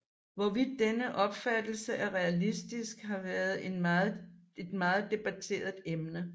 Hvorvidt denne opfattelse er realistisk har været en meget debatteret emne